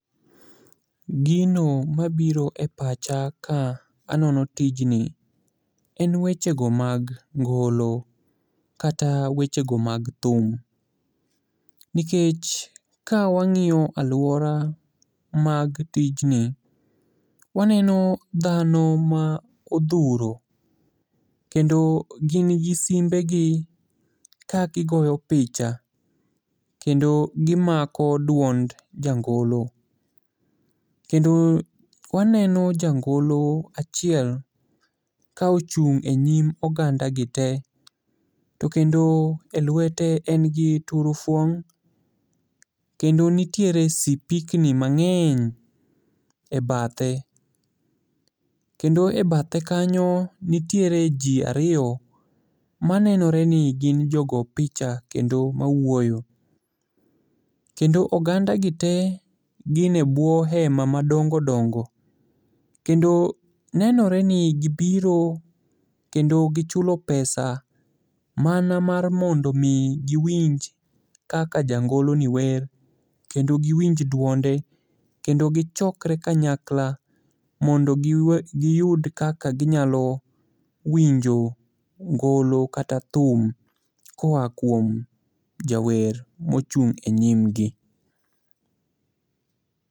Gino mabiro e pacha kanono tijni en weche go mag ngolo, kata weche go mag thum, nikech ka wang'iyo alwora mag tijni, waneno dhano ma odhuro, kendo gin gi simbegi ka gigoyo picha kendo gimako duond jangolo, kendo waneno jangolo achiel ka ochung' e nyim ogandagi te, to kendo e lwete en gi turufo, kendo nitiere sipikni mang'eny e bathe. Kendo e bathe kanyo nitiere ji ariyo manenore ni gin jo go picha kendo mawuoyo. Kendo ogandagi te gin e bwo hema madongo dongo, kendo nenore ni gibiro kendo gichulo pesa mana mar mondo omi giwinj kaka jangoloni wer kendo giwinj duonde, kendo gichokre kanyakla mondo giyud kaka ginyalo winjo ngolo kata thum koa kuom jawer mochung' e nyimgi.